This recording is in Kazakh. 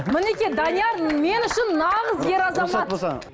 мінекей данияр мен үшін нағыз ер азамат